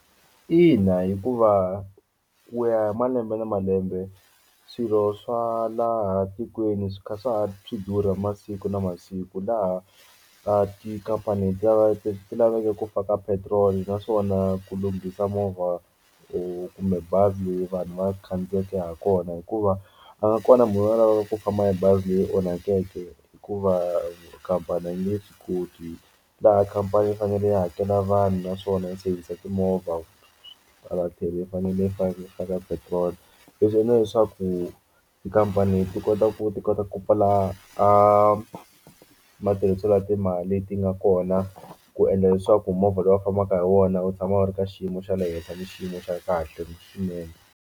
Ina, hikuva ku ya hi malembe na malembe swirho swa laha tikweni swi kha swi kha swi durha masiku na masiku laha kaya tikhampani leti leti lavekeke ku faka petrol naswona ku lunghisa movha or kumbe bazi leyi vanhu va khandziyeke ha kona hikuva a nga kona munhu a lavaka ku famba hi bazi leyi onhakeke hikuva khampani a nge swi koti laha khampani yi fanele yi hakela vanhu naswona yi service timovha a thlele i fanele i fanekele a ka petrol leswi endla leswaku tikhampani ti kota ku ti kota ku pfula a matirhiselo ya timali leti nga kona ku endla leswaku movha lowu u fambaka hi wona u tshama u ri ka xiyimo xa le henhla ni xiyimo xa kahle swinene.